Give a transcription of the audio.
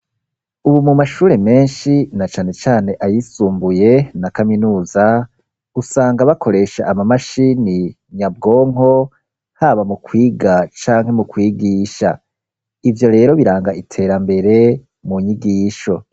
Ubu mu mashure menshi na cane cane ayisumbuye, na kaminuza usanga bakoresha ama mashini nyabwonko, haba mu kwiga canke mu kwigisha ,ivyo rero biranga iterambere mu nyigisho.